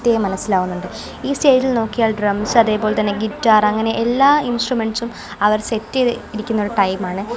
കൃത്യായി മനസ്സിലാകുന്നുണ്ട് ഈ സ്റ്റേജിൽ നോക്കിയാൽ ഡ്രംസ് അതേപോലെതന്നെ ഗിറ്റാർ അങ്ങനെ എല്ലാ ഇൻസ്ട്രുമെന്റ്സും അവർ സെറ്റ് ചെയ്തി ഇരിക്കുന്ന ഒരു ടൈം ആണ്.